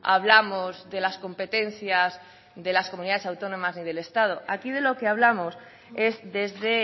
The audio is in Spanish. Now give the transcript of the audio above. hablamos de las competencias de las comunidades autónomas en el estado aquí de lo que hablamos es desde